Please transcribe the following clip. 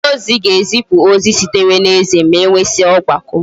onye ozi ga ezipu ozi sitere na eze, ma enwesia ogbako